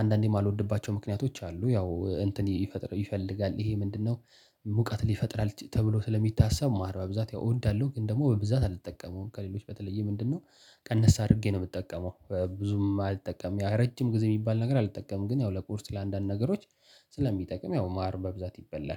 አንዳንዴ የማልወድባቸው ምክንያቶች አሉ ያው እንትን ይፈጥራል ይፈልጋል ይሄ ምንድነው? ሙቀት ይፈጥራል ተብሎ ስለሚታሰብ። ማር በብዛት ያው እንዳለው ግን ደግሞ በብዛት አልተጠቀምም ከሌሎች በተለየ ምንድነው? ቀነስ አድርጌ ነው የምትጠቀመው ብዙም አልጠቀምም። ረጅም ጊዜ የሚባል ነገር አልጠቀምም። ግን ያው ለቁርስ ለአንዳንድ ነገሮች ስለሚጠቅም ያው ማር በብዛት ይበላል